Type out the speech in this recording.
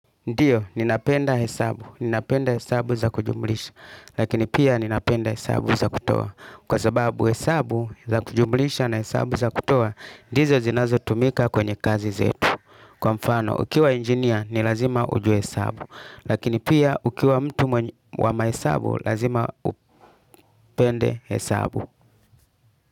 Ndio, nina penda hesabu. Nina penda hesabu za kujumulisha. Lakini pia ninapenda hesabu za kutoa. Kwa sababu hesabu za kujumulisha na hesabu za kutoa, ndizo zinazo tumika kwenye kazi zetu. Kwa mfano, ukiwa engineer, nilazima ujue hesabu. Lakini pia ukiwa mtu wa ma hesabu, lazima upende hesabu.